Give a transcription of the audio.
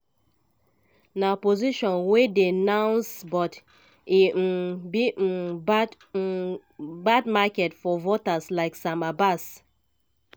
na position wey dey nuanced but e um be um bad um bad market for voters like sam abbas.